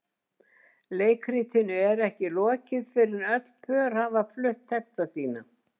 Leikritinu er ekki lokið fyrr en öll pör hafa flutt texta sína.